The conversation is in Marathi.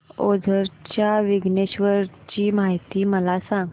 ओझर च्या विघ्नेश्वर ची महती मला सांग